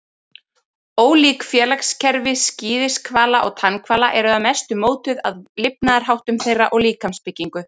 Ólík félagskerfi skíðishvala og tannhvala eru að mestu mótuð af lifnaðarháttum þeirra og líkamsbyggingu.